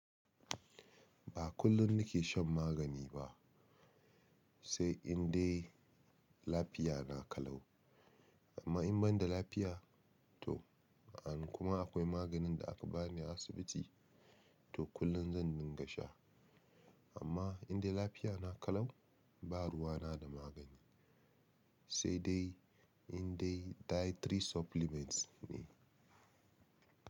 Ba kullum nake shan magani ba, sai indai lafiya na kalau. Amma in ban da lafiya to, an kuma akwai maganin da aka bani a asibiti, to kullum zan dinga sha. Amma indai lafiya na kalau, ba ruwa na da magani, sai dai. Indai dietary supplements ne.